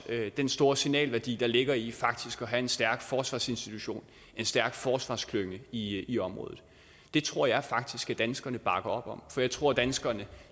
den store signalværdi der ligger i faktisk at have en stærk forsvarsinstitution en stærk forsvarsklynge i i området det tror jeg faktisk at danskerne bakker op om for jeg tror at danskerne